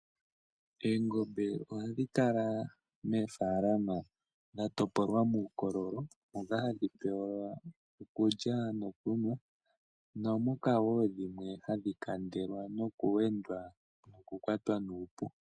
Eengombe oha dhi kala meefalama dhatopolwa muukololo, moka hadhi pe welwa okulya nokunwa, naamoka woo dhimwe hadhi kandelwa nokuwendwa opo dhaa ha kwatwe kuupuka .